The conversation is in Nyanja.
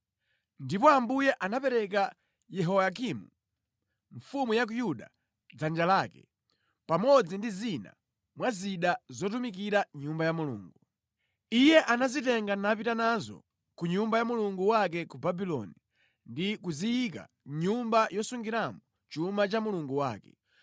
Ndipo Ambuye anapereka Yehoyakimu mfumu ya ku Yuda mʼdzanja lake, pamodzi ndi zina mwa zida zotumikira mʼNyumba ya Mulungu. Iye anazitenga napita nazo ku nyumba ya mulungu wake ku Babuloni ndi kuziyika mʼnyumba yosungiramo chuma cha mulungu wake.